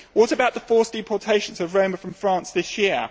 What about the forced deportations of Roma from France this year?